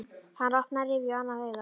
Hann opnaði rifu á annað augað.